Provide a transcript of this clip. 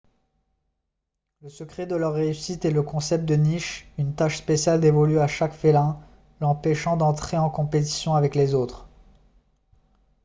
le secret de leur réussite est le concept de niche une tâche spéciale dévolue à chaque félin l'empêchant d'entrer en compétition avec les autres